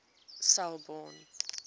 selborne